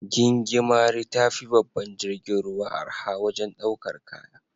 Gingimari tafi babban jirgin ruwa arha wajen daukar kaya.